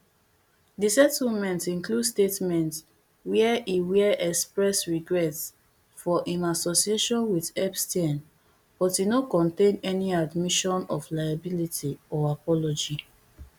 di settlement include statement where e where express regret for im association with epstein but e no contain any admission of liability or apology